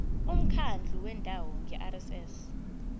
umkhandlu wendawo ngerss